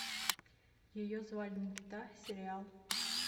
ее звали никита сериал